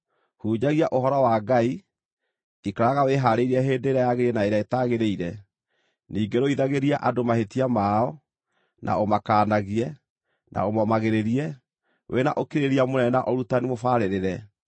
Hunjagia Ũhoro wa Ngai; ikaraga wĩhaarĩirie hĩndĩ ĩrĩa yagĩrĩire na ĩrĩa ĩtagĩrĩire; ningĩ rũithagĩria andũ mahĩtia mao, na ũmakaanagie, na ũmomagĩrĩrie, wĩ na ũkirĩrĩria mũnene na ũrutani mũbarĩrĩre.